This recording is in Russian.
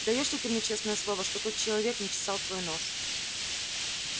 даёшь ли ты мне честное слово что тот человек не чесал твой нос